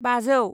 बाजौ